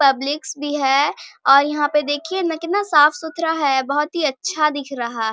publics भी है और यहां पे देखिये ना कितना साफ-सुथरा है बहुत ही अच्छा दिख रहा --